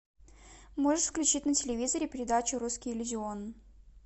можешь включить на телевизоре передачу русский иллюзион